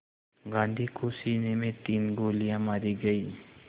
गांधी को सीने में तीन गोलियां मारी गईं